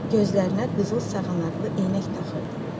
Gözlərinə qızıl saqanaqlı eynək taxırdı.